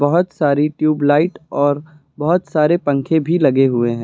बहुत सारी ट्यूबलाइट और बहुत सारे पंखे भी लगे हुए है।